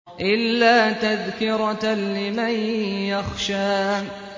إِلَّا تَذْكِرَةً لِّمَن يَخْشَىٰ